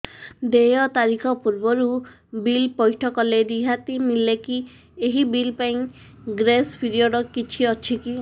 ଦେୟ ତାରିଖ ପୂର୍ବରୁ ବିଲ୍ ପୈଠ କଲେ ରିହାତି ମିଲେକି ଏହି ବିଲ୍ ପାଇଁ ଗ୍ରେସ୍ ପିରିୟଡ଼ କିଛି ଅଛିକି